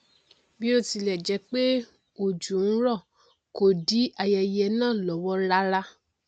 bí ó tilẹ jẹ pé òjò n rọ kò dí ayẹyẹ náà lọwọ rárá